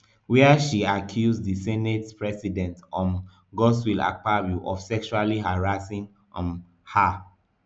wia she accuse di senate president um godswill akpabio of sexually harassing um her